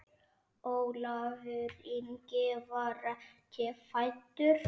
Ólafur Ingi var ekki fæddur.